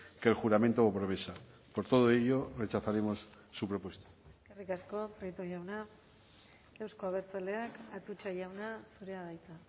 que el juramento o promesa por todo ello rechazaremos su propuesta eskerrik asko prieto jauna euzko abertzaleak atutxa jauna zurea da hitza